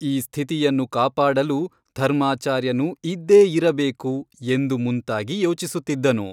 ಈ ಸ್ಥಿತಿಯನ್ನು ಕಾಪಾಡಲು ಧರ್ಮಾಚಾರ್ಯನು ಇದ್ದೇ ಇರಬೇಕು ಎಂದು ಮುಂತಾಗಿ ಯೋಚಿಸುತ್ತಿದ್ದನು.